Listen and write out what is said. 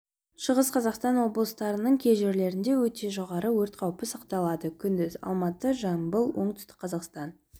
шығыс қазақстан облыстарының кей жерлерінде өте жоғары өрт қауіпі сақталады күндіз алматы жамбыл оңтүстік қазақстан